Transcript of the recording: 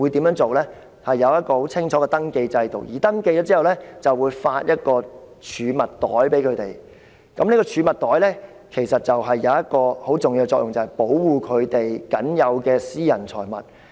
露宿者進行登記後，便會獲派發一個儲物袋。這個儲物袋其實有一個很重要的作用，就是保護他們僅有的私人財物。